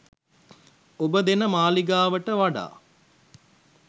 ඔබ දෙන මාලිගාවට වඩා